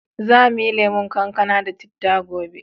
Za mu yi lemon kankana da citta gobe.